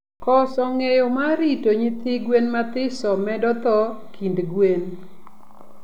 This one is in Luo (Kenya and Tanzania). Koso ngeyo mar rito nyithi gwen mathiso medo thoo kind gwen